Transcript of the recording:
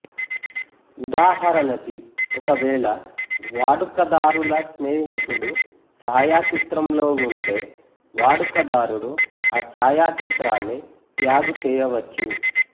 ఉదాహరణకి ఒకవేళ వాడుకదారుల స్నేహితుడు ఛాయాచిత్రంలో ఉంటే వాడుకదారుడు ఆ ఛాయాచిత్రాన్ని ట్యాగ్ చేయవచ్చు